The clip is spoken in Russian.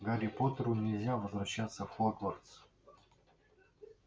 гарри поттеру нельзя возвращаться в хогвартс